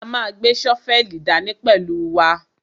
A ma gbé ṣọ́fẹ́lì dání pẹ̀lú wa.